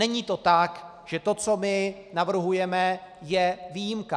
Není to tak, že to, co my navrhujeme, je výjimka.